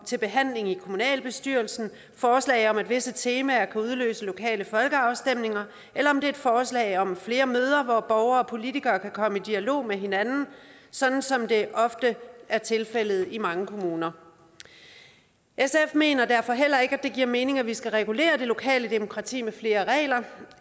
til behandling i kommunalbestyrelsen forslag om at visse temaer kan udløse lokale folkeafstemninger eller om det er et forslag om flere møder hvor borgere og politikere kan komme i dialog med hinanden sådan som det ofte er tilfældet i mange kommuner sf mener derfor heller ikke at det giver mening at vi skal regulere det lokale demokrati med flere regler